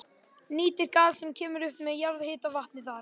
Nýtir gas sem kemur upp með jarðhitavatni þar.